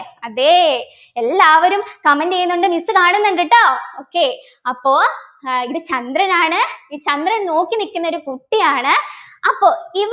അതെ എല്ലാവരും comment ചെയ്യുന്നുണ്ട് miss കാണുന്നുണ്ട് ട്ടോ okay അപ്പോ ഏർ ഇവിടെ ചന്ദ്രനാണ് ഈ ചന്ദ്രൻ നോക്കി നിക്കുന്നൊരു കുട്ടിയാണ് അപ്പൊ